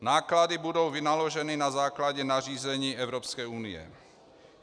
Náklady budou vynaloženy na základě nařízení Evropské unie.